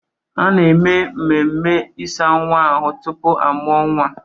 A na-eme ememme ịsa nwa ahụ tupu a mụọ nwa.